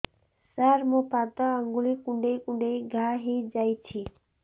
ସାର ମୋ ପାଦ ଆଙ୍ଗୁଳି କୁଣ୍ଡେଇ କୁଣ୍ଡେଇ ଘା ହେଇଯାଇଛି